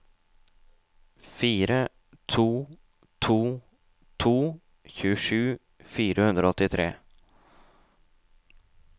fire to to to tjuesju fire hundre og åttitre